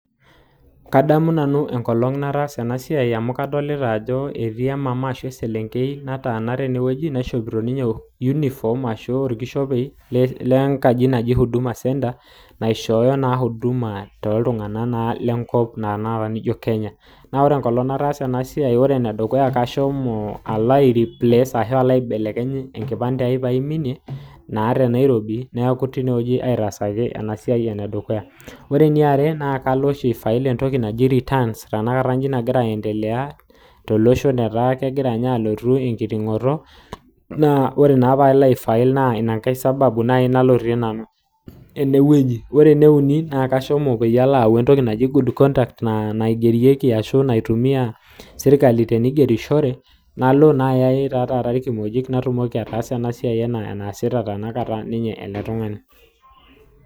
kadamu nanu enkolong nataasa enasiai amu adoolta oltungani oota orkishopei laijo ole huduma centre kashomo alo abelekeny enkipande ai nadamu sii enkolong nashomo fill returns S ashomo alo ayaau entoki naji good conduct naijo ena naasita ele tungani